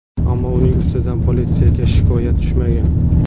Ammo uning ustidan politsiyaga shikoyat tushmagan.